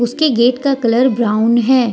उसके गेट का colour brown है।